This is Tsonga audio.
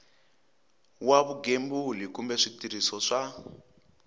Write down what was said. wa vugembuli kumbe switirhiso swa